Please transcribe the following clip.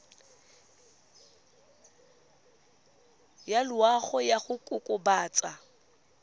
ya loago ya go kokobatsa